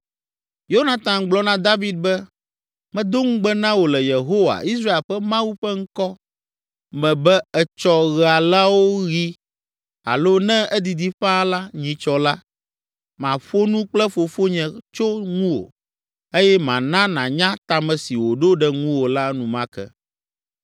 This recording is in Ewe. Yonatan gblɔ na David be, “Medo ŋugbe na wò le Yehowa, Israel ƒe Mawu ƒe ŋkɔ me be etsɔ ɣe alawo ɣi alo ne edidi ƒãa la nyitsɔ la, maƒo nu kple fofonye tso ŋuwò eye mana nànya ta me si wòɖo ɖe ŋuwò la enumake.